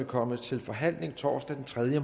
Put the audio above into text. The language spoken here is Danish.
komme til forhandling torsdag den tredje